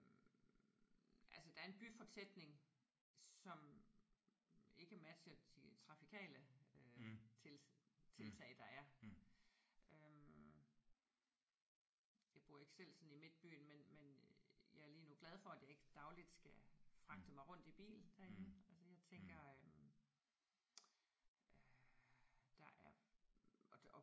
Altså der er en byfortætning som ikke matcher de trafikale øh tiltag der er. Jeg bor ikke selv sådan i midtbyen men men jeg er lige nu glad for at jeg ikke dagligt skal fragte mig rundt i bil derinde altså jeg tænker øh der er